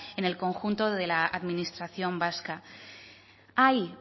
en el conjunto de la administración vasca hay